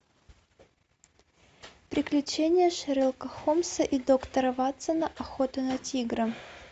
приключения шерлока холмса и доктора ватсона охота на тигра